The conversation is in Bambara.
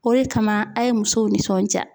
O de kama a ye muso nisɔndiya